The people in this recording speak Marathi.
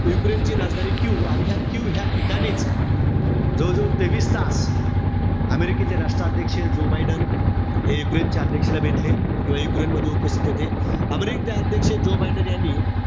युक्रेनची राजधानी कीव, आणि ह्या कीव ह्या ठिकाणीच, जवळजवळ तेवीस तास अमेरिकेचे राष्ट्राध्यक्ष जो बायडेन, हे युक्रेनचे अध्यक्षला भेटले. किंवा युक्रेनमध्ये उपस्थित होते. अमेरिकेचे राष्ट्राध्यक्ष जो बायडेन यांनी,